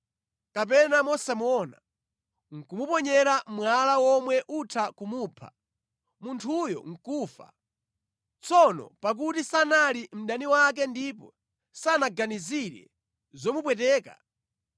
kapena mosamuona nʼkumuponyera mwala womwe utha kumupha, munthuyo nʼkufa, tsono pakuti sanali mdani wake ndipo sanaganizire zomupweteka,